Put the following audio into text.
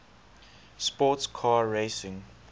sports car racing